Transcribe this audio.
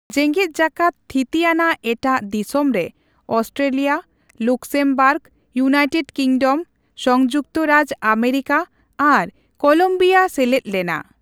ᱡᱮᱸᱜᱮᱫ ᱡᱟᱠᱟᱛ ᱛᱷᱤᱛᱤ ᱟᱱᱟᱜ ᱮᱴᱟᱜ ᱫᱤᱥᱚᱢ ᱨᱮ ᱟᱥᱴᱨᱮᱞᱤᱭᱟ, ᱞᱚᱠᱡᱢᱵᱚᱨᱜ, ᱭᱩᱱᱟᱤᱴᱮᱰ ᱠᱤᱸᱜᱰᱚᱢ, ᱥᱚᱸᱭᱩᱠᱚᱛ ᱨᱟᱡᱽ ᱚᱢᱮᱨᱤᱠᱟ ᱟᱨ ᱠᱳᱞᱚᱸᱵᱤᱭᱟ ᱥᱮᱞᱮᱫ ᱞᱮᱱᱟ ᱾